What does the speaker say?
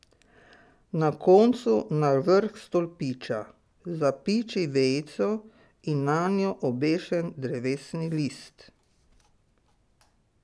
Na koncu na vrh stolpiča zapiči vejico in nanjo obešen drevesni list.